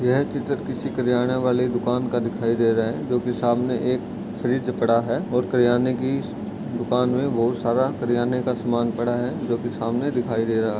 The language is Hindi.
यह चित्र किसी किराने वाले दुकान का दिखाई दे रहा है जो की सामने एक फ्रिज पड़ा है ओर किराने की दुकान मे बहुत सारा किराने का सामान पड़ा है जो की सामने दिखाई दे रहा है|